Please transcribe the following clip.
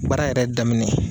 Baara yɛrɛ daminɛ